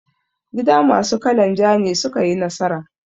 Gida masu kalan ja ne suka yi nasara.